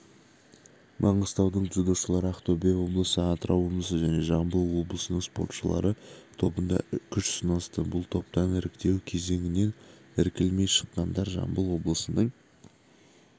маңғыстаудың дзюдошылары ақтөбе облысы атырау облысы және жамбыл облысының спортшылары тобында күш сынасты бұл топтан іріктеу кезеңінен іркілмей шыққандар жамбыл облысының